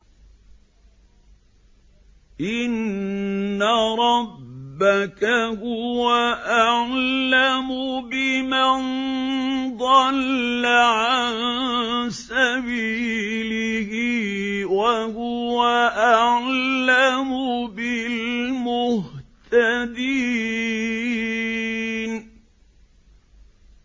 إِنَّ رَبَّكَ هُوَ أَعْلَمُ بِمَن ضَلَّ عَن سَبِيلِهِ وَهُوَ أَعْلَمُ بِالْمُهْتَدِينَ